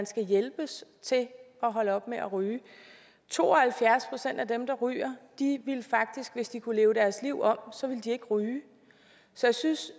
skal hjælpes til at holde op med at ryge to og halvfjerds procent af dem der ryger ville faktisk hvis de kunne leve deres liv om ikke ryge så jeg synes